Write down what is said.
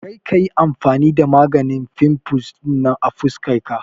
Kar ka yi amfani da maganin fimfles ɗinan a fuskar ka.